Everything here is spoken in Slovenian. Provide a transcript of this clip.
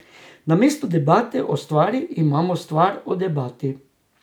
Namesto debate o stvari imamo stvar o debati.